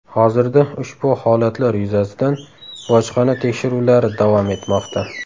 Hozirda ushbu holatlar yuzasidan bojxona tekshiruvlari davom etmoqda.